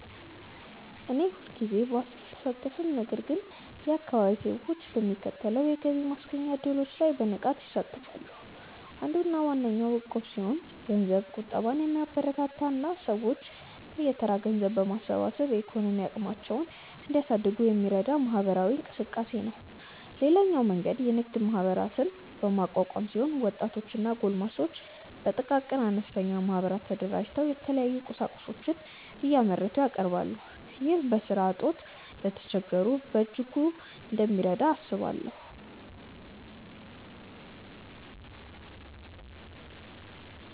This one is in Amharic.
እኔ ሁልጊዜ ባልሳተፍም ነገር ግን የአካባቢዬ ሰዎች በሚከተሉት የገቢ ማስገኛ እድሎች ላይ በንቃት ይሳተፋሉ። አንዱና ዋነኛው እቁብ ሲሆን ገንዘብ ቁጠባን የሚያበረታታ እና ሰዎች በየተራ ገንዘብ በማሰባሰብ የኢኮኖሚ አቅማቸውን እንዲያሳድጉ የሚረዳ ማህበራዊ እንቅስቃሴ ነው። ሌላኛው መንገድ የንግድ ማህበራትን በማቋቋም ሲሆን ወጣቶች እና ጎልማሶች በጥቃቅንና አነስተኛ ማህበራት ተደራጅተው የተለያዩ ቁሳቁሶችን እያመረቱ ያቀርባሉ። ይህ በስራ እጦት ለተቸገሩት በእጅጉ እንደሚረዳ አስባለሁ።